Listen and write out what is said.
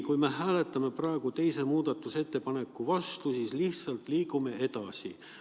Kui me hääletame praegu teise muudatusettepaneku vastu, siis me lihtsalt liigume edasi.